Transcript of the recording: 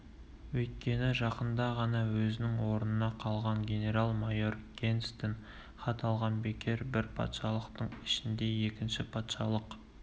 өйткені жақында ғана өзінің орнында қалған генерал-майор генстен хат алған бекер бір патшалықтың ішінде екінші патшалық